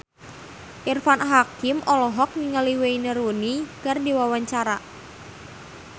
Irfan Hakim olohok ningali Wayne Rooney keur diwawancara